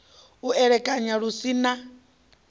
u elekanya lu si na